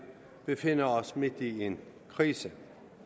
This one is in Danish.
befinder os midt i en krise